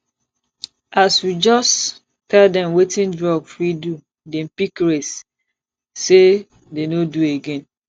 as we just tell dem wetin drug fit do dem pick race sey dey no do again